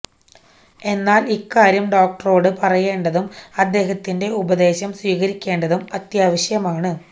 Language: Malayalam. എന്നാല് ഇക്കാര്യം ഡോക്ടറോട് പറയേണ്ടതും അദ്ദേഹത്തിന്റെ ഉപദേശം സ്വീകരിക്കേണ്ടതും അത്യാവശ്യമാണ്